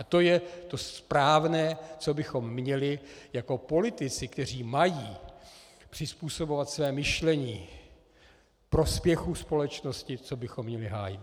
A to je to správné, co bychom měli jako politici, kteří mají přizpůsobovat své myšlení prospěchu společnosti, co bychom měli hájit.